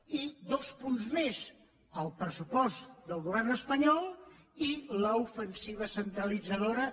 i dos punts més el pressupost del govern espanyol i l’ofensiva centralitzadora